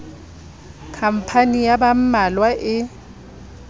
khampani ya ba mmalwa e